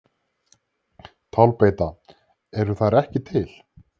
Tálbeita: Eru þær ekki til?